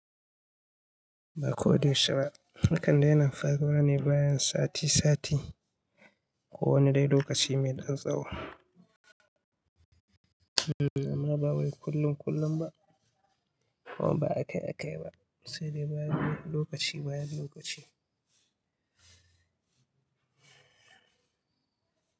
Ba ko da yaushe ba. Yakan daina faruwa ne bayan sati sati ko wani dai lokaci mai ɗan tsawo. Hmm amma ba wai kullun kullun ba kuma ba akai akai ba. Sai dai bayan lokaci bayan lokaci.